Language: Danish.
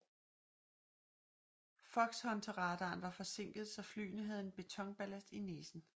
Foxhunterradaren var forsinket så flyene havde en betonballast i næsen